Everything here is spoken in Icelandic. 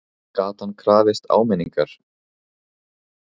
Gat hann krafist áminningar?